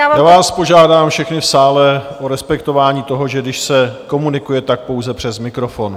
Já vás požádám všechny v sále o respektování toho, že když se komunikuje, tak pouze přes mikrofon.